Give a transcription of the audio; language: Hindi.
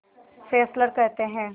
फेस्लर कहते हैं